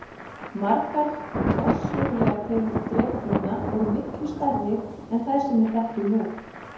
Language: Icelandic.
Margar forsögulegar tegundir drekaflugna voru miklu stærri en þær sem við þekkjum nú.